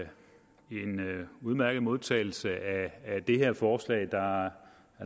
en udmærket modtagelse af det her forslag der er